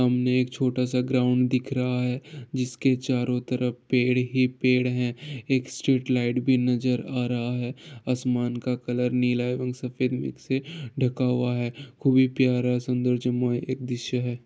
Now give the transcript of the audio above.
सामने एक छोटा सा ग्राउंड दिख रहा है जिसके चारो तरफ पेड़ ही पेड़ है एक स्ट्रीट लाइट भी नज़र आ रहा है आसमान का कलर नीला है और सफ़ेद मिक्स है ढ़का हुआ है खूब प्यारा सुंदर है एक दृश्य है।